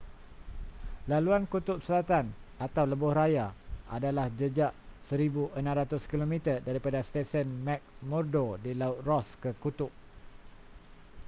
laluan kutub selatan atau lebuhraya adalah jejak 1600 km daripada stesen mcmurdo di laut ross ke kutub